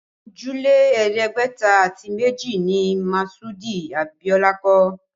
Ojúlé ẹ̀ẹ́dẹ́gbẹ̀ta àti méjì ni Masudi Abiola kọ́